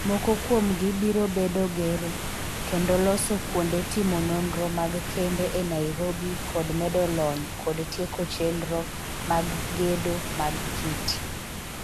Moko kuomgi biro bedo gero kendo loso kuonde timo nonro mag kembe e Nairobi kod medo lony kod tieko chenro mag gedo mag KITI.